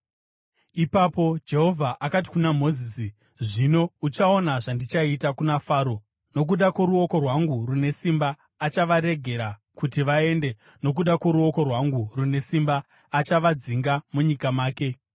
Ipapo Jehovha akati kuna Mozisi, “Zvino uchaona zvandichaita kuna Faro. Nokuda kworuoko rwangu rune simba achavaregera kuti vaende; nokuda kworuoko rwangu rune simba achavadzinga munyika make.”